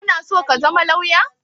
Kana so ka zama lawyer?